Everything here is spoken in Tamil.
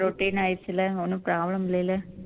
routine ஆயிடுச்சு இல்ல ஒண்ணும் problem இல்லைல